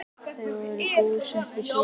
Þau voru búsett í Perú.